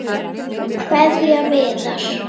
Kveðja Viðar.